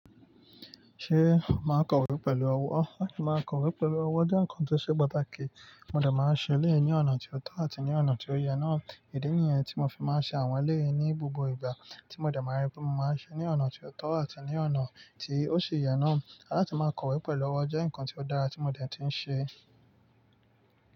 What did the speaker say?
Ṣé màá kọ̀wé pẹ̀lú ọwọ́? Àti máa kọ̀wé pẹ̀lú ọwọ́ jẹ́ nǹkan tó ṣe pàtàkì. Mo dẹ̀ máa ń ṣẹlẹ ní ọ̀nà tó tọ́ àti ní ọ̀nà tí ó yẹ náà. Idí nìyẹn tí mo fi máa ń ṣe àwọn ilé yìí ní gbogbo ìgbà tí mo dẹ̀ máa ń rí bí mo máa ń ṣe ní ọ̀nà tó tọ́ àti ní ọ̀nà tí ó ṣe yẹ náà. Alátì máa kọ̀wé pẹ̀lú ọwọ́ jẹ́ nǹkan tí ó dára tí mo dẹ̀ ti ń ṣe.